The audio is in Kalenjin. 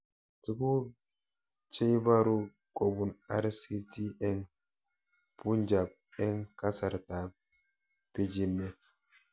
Tuguk cheibaru kopun RCT eng' punjab eng' kasarta ab pichinwek